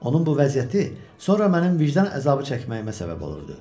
Onun bu vəziyyəti sonra mənim vicdan əzabı çəkməyimə səbəb olurdu.